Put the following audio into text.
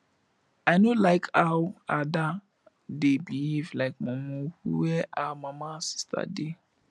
i no like how ada dey behave like mumu where her mama sisters dey